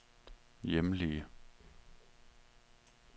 hjemlige